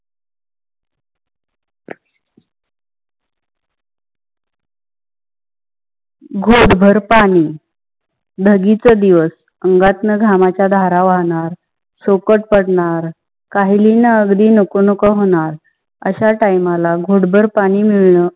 घुट भर पानी. धागी चा दिवस, अंगा तन घमाचा धारा वाहणार, शोकत पडनार, कही लिहिनी अगदी नको नको होनार आसा time ला घुट भर पाणी मिळणं